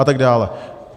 A tak dále.